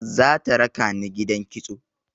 Za ta raka ni gidan kitso.